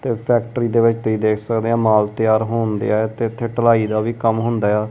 ਤੇ ਫੈਕਟਰੀ ਦੇ ਵਿੱਚ ਤੁਸੀਂ ਦੇਖ ਸਕਦੇ ਆ ਮਾਲ ਤਿਆਰ ਹੋਣ ਦਿਆ ਤੇ ਇਥੇ ਢਲਾਈ ਦਾ ਵੀ ਕੰਮ ਹੁੰਦਾ ਆ।